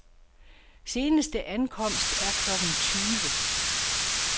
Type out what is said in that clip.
Seneste ankomst er klokken tyve.